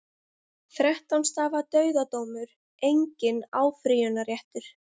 Þrettán stafa dauðadómur, enginn áfrýjunarréttur.